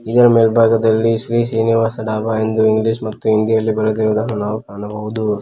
ಇದರ ಮೇಲ್ಭಾಗದಲ್ಲಿ ಶ್ರೀ ಶ್ರೀನಿವಾಸ್ ಡಾಬಾ ಎಂದು ಇಂಗ್ಲೀಷ್ ಮತ್ತು ಹಿಂದಿಯಲ್ಲಿ ಬರೆದಿರುವುದನ್ನು ನಾವು ಕಾಣಬವುದು.